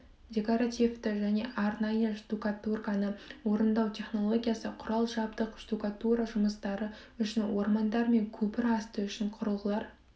декоративті және арнайы штукатурканы орындау технологиясы құрал жабдық штукатура жұмыстары үшін ормандар мен көпір асты үшін құрылғылар